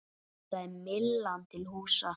Þar er Myllan til húsa.